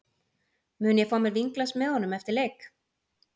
Mun ég fá mér vínglas með honum eftir leik?